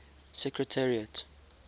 secretariat